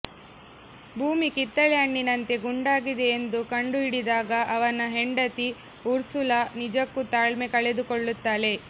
ಭೂಮಿ ಕಿತ್ತಳೆ ಹಣ್ಣಿನಂತೆ ಗುಂಡಾಗಿದೆ ಎಂದು ಕಂಡುಹಿಡಿದಾಗ ಅವನ ಹೆಂಡತಿ ಉರ್ಸುಲಾ ನಿಜಕ್ಕೂ ತಾಳ್ಮೆ ಕಳೆದುಕೊಳ್ಳುತ್ತಾಳೆ